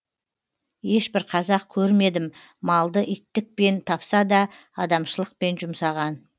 ешбір қазақ көрмедім малды иттікпен тапса да адамшылықпен жұмсаған